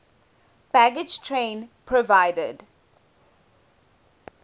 baggage train provided